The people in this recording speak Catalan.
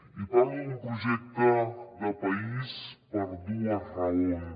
i parlo d’un projecte de país per dues raons